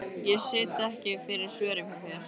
Ég sit ekki fyrir svörum hjá þér.